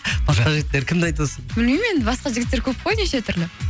басқа жігіттер кімді айтып отырсың білмеймін енді басқа жігіттер көп қой неше түрлі